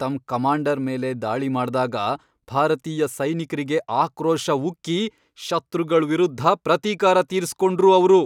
ತಮ್ಮ್ ಕಮಾಂಡರ್ ಮೇಲೆ ದಾಳಿ ಮಾಡ್ದಾಗ ಭಾರತೀಯ ಸೈನಿಕ್ರಿಗೆ ಆಕ್ರೋಶ ಉಕ್ಕಿ ಶತ್ರುಗಳ್ ವಿರುದ್ಧ ಪ್ರತೀಕಾರ ತೀರ್ಸ್ಕೊಂಡ್ರು ಅವ್ರು.